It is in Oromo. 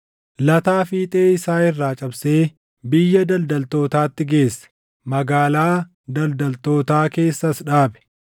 lataa fiixee isaa irraa cabsee biyya daldaltootaatti geesse; magaalaa daldaltootaa keessas dhaabe.